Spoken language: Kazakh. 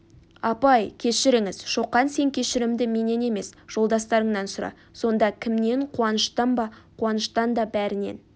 апай кешіріңіз шоқан сен кешірімді менен емес жолдастарыңнан сұра сонда кімнен қуаныштан ба қуаныштан да бәрінен